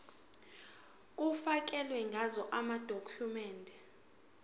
kufakelwe ngazo amadokhumende